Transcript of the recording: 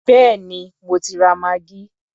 Béèni mo ti ra maggi.